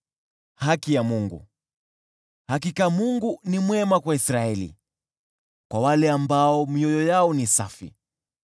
Hakika Mungu ni mwema kwa Israeli, kwa wale ambao mioyo yao ni safi.